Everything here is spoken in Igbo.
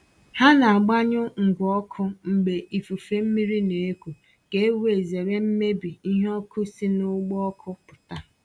Ha na agbanyụ ngwa ọkụ mgbe ifufe mmiri na-eku ka e wee zere mmebi ihe ọkụ si n’ụgbọ ọkụ pụta.